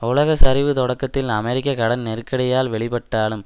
உலக சரிவு தொடக்கத்தில் அமெரிக்க கடன் நெருக்கடியால் வெளிப்பட்டாலும்